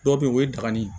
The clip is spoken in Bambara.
Dɔw bɛ yen o ye dagani ye